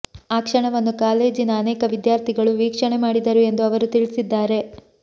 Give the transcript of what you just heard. ಆ ಕ್ಷಣವನ್ನು ಕಾಲೇಜಿನ ಅನೇಕ ವಿದ್ಯಾರ್ಥಿಗಳು ವೀಕ್ಷಣೆ ಮಾಡಿದರು ಎಂದು ಅವರು ತಿಳಿಸಿದ್ದಾರೆ